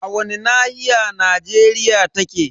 A wani nahiya Najeriya take?